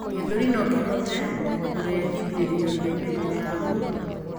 gĩthũri nokihote kurehithirio ni mĩrimũ ya ngoro